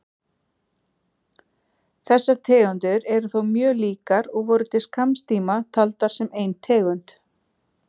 Þessar tegundir eru þó mjög líkar og voru til skamms tíma taldar sem ein tegund.